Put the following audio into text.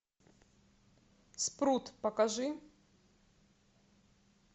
спрут покажи